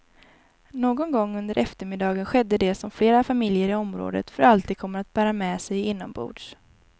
Någon gång under eftermiddagen skedde det som flera familjer i området för alltid kommer att bära med sig inombords.